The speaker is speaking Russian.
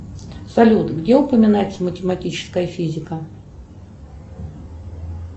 салют где упоминается математическая физика